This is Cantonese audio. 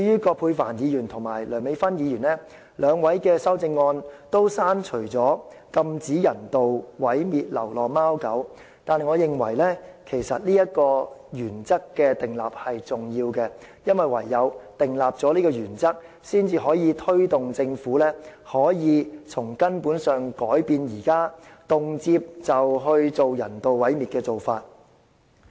葛珮帆議員和梁美芬議員的修正案均刪除"禁止人道毀滅流浪貓狗"，但我認為訂立這個原則是重要的，因為唯有訂立這個原則，才能推動政府從根本上改變現時動輒進行人道毀滅的做法。